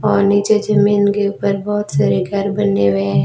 और नीचे जमीन के ऊपर बहोत सारे घर बन्ने हुए है।